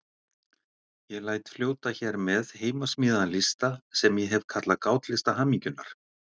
Ég læt fljóta hér með heimasmíðaðan lista sem ég hef kallað Gátlista hamingjunnar.